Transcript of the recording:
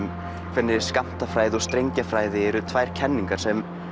hvernig skammtafræði og strengjafræði eru tvær kenningar sem